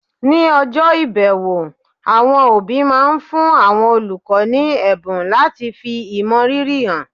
ní ọjọ́ ìbẹ̀wò, àwọn òbí máa ń fún àwọn olùkọ́ ní ẹ̀bùn láti fi ìmọrírì hàn